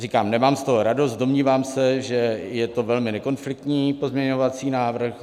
Říkám, nemám z toho radost, domnívám se, že je to velmi nekonfliktní pozměňovací návrh.